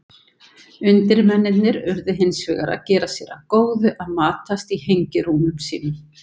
Undirmennirnir urðu hins vegar að gera sér að góðu að matast í hengirúmum sínum.